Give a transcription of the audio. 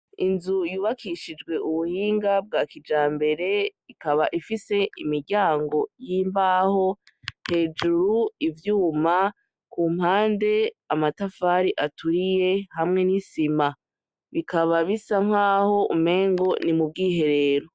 Inzu yubakishijwe ubuhinga bwa kijambere, ikaba ifise imiryango y'imbaho, hejuru ivyuma, ku mpande amatafari aturiye hamwe n'isima. Bikaba bisa nkaho umengo ni mu bwiherero.